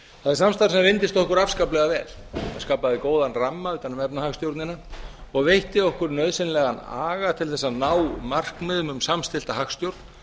það samstarf reyndist okkur afskaplega vel það skapaði góðan ramma utan um efnahagsstjórnina og veitti okkur nauðsynlegan aga til að ná markmiðum um samstillta hagstjórn